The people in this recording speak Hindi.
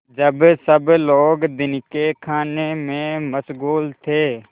जब सब लोग दिन के खाने में मशगूल थे